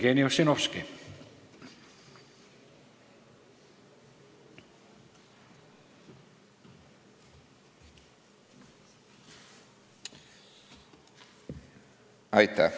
Jevgeni Ossinovski.